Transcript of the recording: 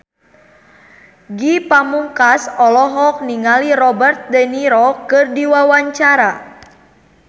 Ge Pamungkas olohok ningali Robert de Niro keur diwawancara